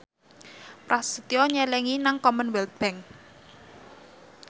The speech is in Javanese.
Prasetyo nyelengi nang Commonwealth Bank